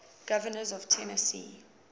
governors of tennessee